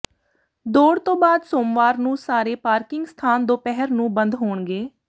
ਦੌੜ ਤੋਂ ਬਾਅਦ ਸੋਮਵਾਰ ਨੂੰ ਸਾਰੇ ਪਾਰਕਿੰਗ ਸਥਾਨ ਦੁਪਹਿਰ ਨੂੰ ਬੰਦ ਹੋਣਗੇ